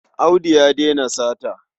Audu ya daina sata.